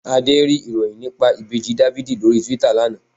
Adé rí ìròyìn nípa Ìbejì Dáfídì lórí Túítà lana